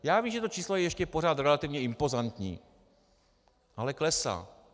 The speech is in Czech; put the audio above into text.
Já vím, že to číslo je ještě pořád relativně impozantní, ale klesá.